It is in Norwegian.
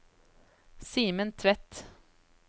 Simen Tvedt